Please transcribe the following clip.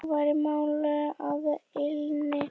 Nú væri mál að linni.